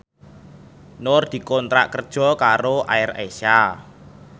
Nur dikontrak kerja karo AirAsia